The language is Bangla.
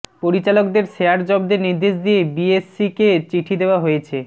পরিচালকদের শেয়ার জব্দের নির্দেশ দিয়ে বিএসইসিকে চিঠি দেওয়া হয়েছে